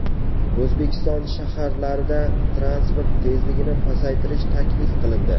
O‘zbekiston shaharlarida transport tezligini pasaytirish taklif qilindi.